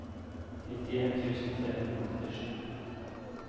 nittien tusen tre hundre og åttisju